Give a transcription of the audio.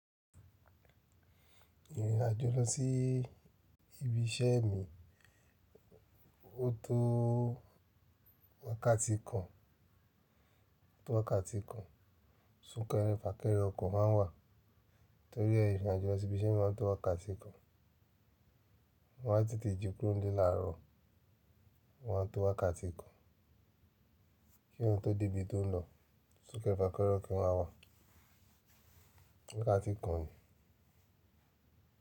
Ìrìnàjò lọ sí ibi iṣẹ́ mi, ó tó wákàtí kan, tó wákàtí kan, súnkẹrẹ fàkẹrẹ ọkọ̀ ma ń wà. Nítorí ẹ ìrìnàjò lọ sí ibi iṣẹ́ mi ma ń tó wákàtí kan. Mo á tètè ji kúróńle láàárọ̀, o ma n tó wákàtí kan. Kí èèyàn tó dé ibi tó ń lọ, súnkẹrẹ fàkẹrẹ ọkọ̀ ma wà. Wákàtí kan ni.